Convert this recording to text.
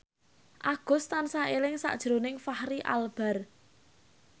Agus tansah eling sakjroning Fachri Albar